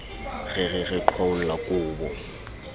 re re re qhwaolla kobo